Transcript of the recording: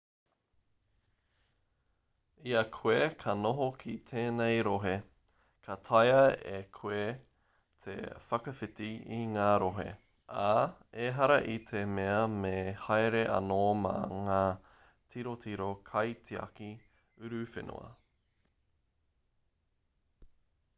i a koe ka noho ki tēnei rohe ka taea e koe te whakawhiti i ngā rohe ā ehara i te mea me haere anō mā ngā tirotiro kaitiaki uruwhenua